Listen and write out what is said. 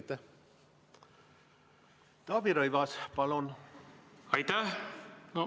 Taavi Rõivas, palun!